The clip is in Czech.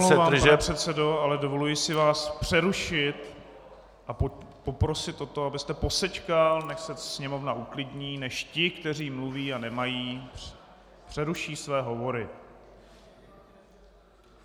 Já se velmi omlouvám, pane předsedo, ale dovoluji si vás přerušit a poprosit o to, abyste posečkal, než se sněmovna uklidní, než ti, kteří mluví a nemají, přeruší své hovory.